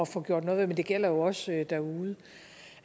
få gjort noget ved men det gælder jo også derude